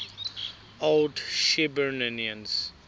old shirburnians